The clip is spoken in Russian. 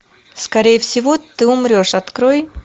скорее всего ты умрешь открой